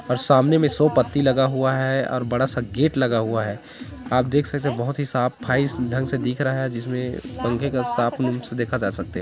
और सामने में सो पत्ती लगा हुआ है और बड़ा सा गेट लगा हुआ है आप देख सकते है बहुत ही साफाई ढंग से दिख रहा है जिसमे पंखे का साफ़ मन से देखा जा सकते।